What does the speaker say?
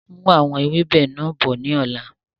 Mú àwọn ewébẹ̀ náà bọ̀ ni ọ̀la!